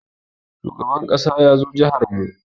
Shugaban ƙasa ya zo jihar mu yau.